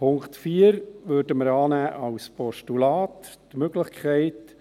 Den Punkt 4 würden wir als Postulat annehmen: